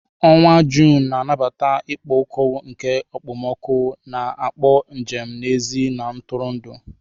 Onwa June na-anabata ikpo ọkụ nke okpomọkụ, na-akpọ njem n'èzí na ntụrụndụ.